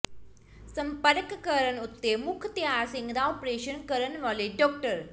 ਸੰਪਰਕ ਕਰਨ ਉਤੇ ਮੁਖਤਿਆਰ ਸਿੰਘ ਦਾ ਅਪਰੇਸ਼ਨ ਕਰਨ ਵਾਲੇ ਡਾ